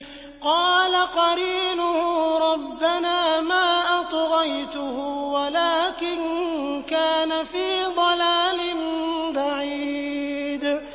۞ قَالَ قَرِينُهُ رَبَّنَا مَا أَطْغَيْتُهُ وَلَٰكِن كَانَ فِي ضَلَالٍ بَعِيدٍ